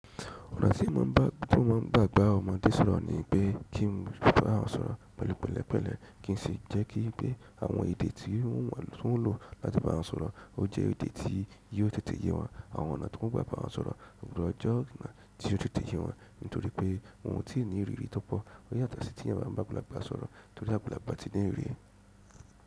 Ọ̀nà tí wọ́n máa ń gbà bá ọmọdé sọ̀rọ̀ ní pé kí n ba wọn sọ̀rọ̀ pẹ̀lú pẹ̀lẹ́pẹ̀lẹ́, kí n sì jẹ́ kí pé àwọn èdè tí wọ́n ń lò láti bá wọn sọ̀rọ̀, ó jẹ́ èdè tí yóò tètè yé wọn. Àwọn ọ̀nà tí wọ́n gbà bá wọn sọ̀rọ̀ ní ọjọ́ ti ó tètè yé wọn nítorí pé wọn ò tí ì ní ìrírí tó pọ̀. Ó yàtọ̀ sí tí a bá ń gbàgbá àgbà sọ̀rọ̀ torí àgbàgbà ti ní ìrírí.